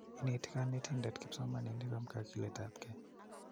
Ineti konetinde kipsomaninik om kokiletapkei.